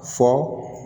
Fɔ